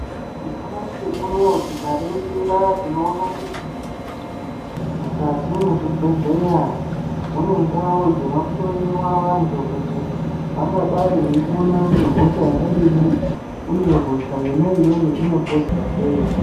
Nyamhashi unowo tikaningira tinoona kuti mukati mezvebhenhleya mune ndau dzinoshowiwa vantu vangadai veipona ngehosha yakadii uye hosha iyona iyoyo ingapodzwa seii.